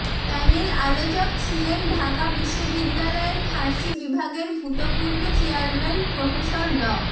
panel আলোচক ছিলেন ঢাকা বিশ্ববিদ্যালয়ের ফার্সি বিভাগের ভূতপূর্ব চেয়ারম্যান প্রফেসর ড